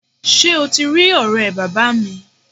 Sé o ti rí òré bàbáa mi?